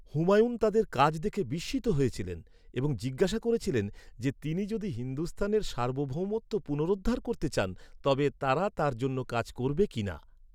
হুমায়ুন তাদের কাজ দেখে বিস্মিত হয়েছিলেন এবং জিজ্ঞাসা করেছিলেন যে তিনি যদি হিন্দুস্তানের সার্বভৌমত্ব পুনরুদ্ধার করতে চান তবে তারা তার জন্য কাজ করবে কিনা।